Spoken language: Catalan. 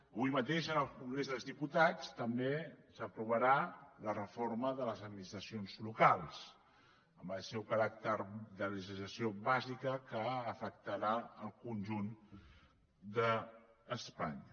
avui mateix en el congrés dels diputats també s’aprovarà la reforma de les administracions locals amb el seu caràcter de legislació bàsica que afectarà el conjunt d’espanya